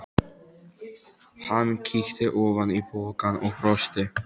Hann kíkti ofan í pokann og brosti.